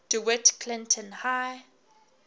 dewitt clinton high